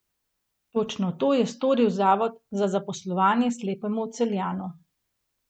Točno to je storil zavod za zaposlovanje slepemu Celjanu.